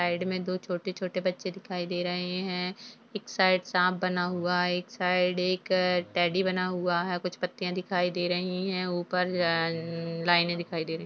Side में दो छोटे छोटे बच्चे दिखाई दे रहे हैं एक साइड सांप बना हुआ है एक साइड एक टैडी बना हुआ है कुछ पत्तियां दिखाई दे रही हैं ऊपर अ-अ-अ-लाइनें दिखाई दे रही।